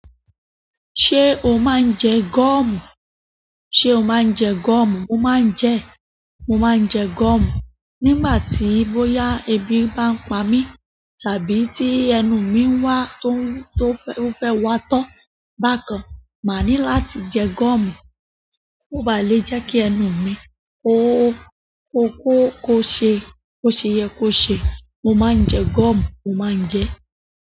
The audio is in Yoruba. Ṣé o máa ń jẹ gọ́ọ̀mù? Ṣé o máa ń jẹ gọ́ọ̀mù? Mo maa n je e. Mo máa ń jẹ gọ́ọ̀mù nígbà tí bóyá ẹbí bá ń pa mí, tàbí tí ẹnu mi ń wá tó, tó fẹ́, ó fẹ́ watọ́ bákan. Máa ní láti jẹ gọ́ọ̀mù, kó ba lè jẹ́ kí ẹnu mi ko hó, kó ho, kó ṣe, kó ṣe yẹ kó ṣe. Mo máa ń jẹ gọ́ọ̀mù, mo máa ń jẹ.